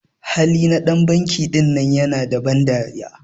Hali na dan banki ɗinan ƴana da ban dariya.